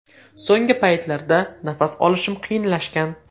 So‘nggi paytlarda nafas olishim qiyinlashgan.